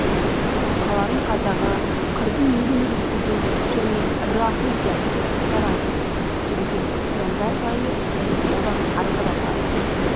қаланың қазағы қырдың елі естіген және рахым сияқты оқушылар айтып жүрген крестьяндар жайы және одан арғы да талай